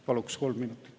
Paluks kolm minutit.